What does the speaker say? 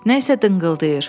Nəysə dınqıldayır.